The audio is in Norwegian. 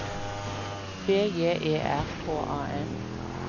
B J E R K A N